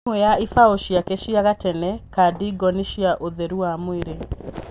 Ĩmwe ya ibaũ cĩake cia gatene Kadingo nĩ cĩa ũtheru wa mwĩrĩ